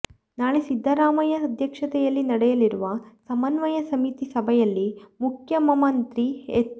ನಾಳೆ ಸಿದ್ದರಾಮಯ್ಯ ಅಧ್ಯಕ್ಷತೆಯಲ್ಲಿ ನಡೆಯಲಿರುವ ಸಮನ್ವಯ ಸಮಿತಿ ಸಭೆಯಲ್ಲಿ ಮುಖ್ಯಮಮತ್ರಿ ಹೆಚ್